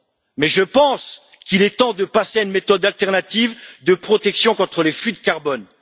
Mais je pense qu'il est temps de passer à une méthode alternative de protection contre les flux de carbone.